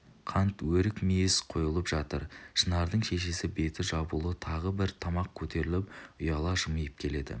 қант өрік-мейіз қойылып жатыр шынардың шешесі беті жабулы тағы бір табақ көтеріп ұяла жымиып келеді